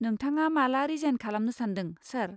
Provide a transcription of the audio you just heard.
नोंथाङा माला रिजाइन खालामनो सान्दों, सार?